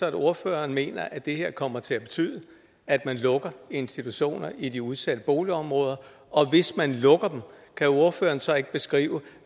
at ordføreren mener at det her kommer til at betyde at man lukker institutioner i de udsatte boligområder og hvis man lukker dem kan ordføreren så ikke beskrive